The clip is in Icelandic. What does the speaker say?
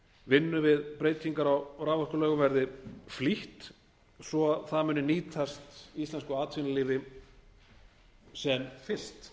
vinnu við breytingar á raforkulögum verði flýtt svo það muni nýtast íslensku atvinnulífi sem fyrst